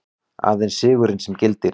Aðeins sigurinn sem gildir.